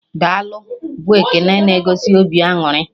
"Daalụ" bụ ekene na egosi obi aṅụrị